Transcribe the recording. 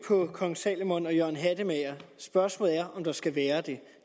på kong salomon og jørgen hattemager spørgsmålet er om der skal være det